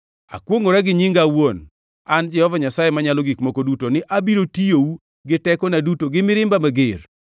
Akwongʼora gi nyinga awuon, an Jehova Nyasaye Manyalo Gik Moko Duto ni abiro tiyou gi tekona duto gi mirimba mager.